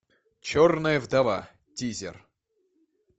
черная вдова тизер